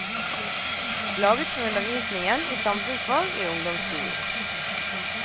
Laget for undervisningen i samfunnsfag i ungdomsskolen.